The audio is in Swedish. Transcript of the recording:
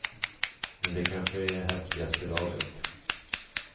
Men det kanske är i häftigaste laget.